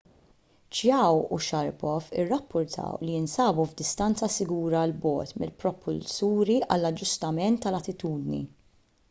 chiao u sharipov irrappurtaw li jinsabu f'distanza sigura l bogħod mill-propulsuri għall-aġġustament tal-attitudni